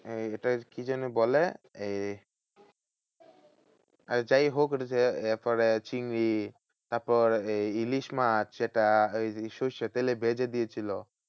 ওটার কি যেন বলে? এই আর যাইহোক এটা হচ্ছে এরপরে চিংড়ি তারপর এই ইলিশ মাছ যেটা ওই সর্ষের তেলে ভেজে দিয়েছিলো।